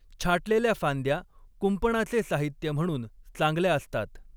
छाटलेल्या फांद्या कुंपणाचे साहित्य म्हणून चांगल्या असतात.